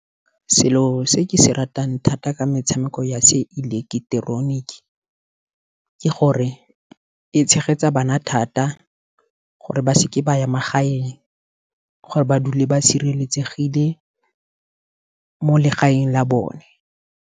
Selo se ke se ratang thata ke metshameko ya se ileketeroniki, ke gore e tshegetsa bana thata gore ba seke ba ya magaeng, gore ba dule ba sireletsegile mo legaeng la bone.